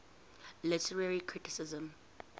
literary criticism